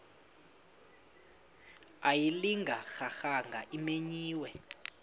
ayilinga gaahanga imenywe